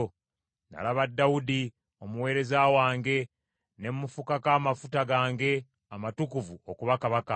Nalaba Dawudi, omuweereza wange; ne mufukako amafuta gange amatukuvu okuba kabaka.